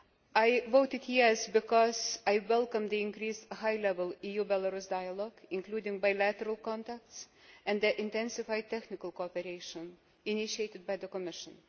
I voted yes' because I welcome the increased high level EU Belarus dialogue, including bilateral contacts, and the intensified technical cooperation initiated by the Commission.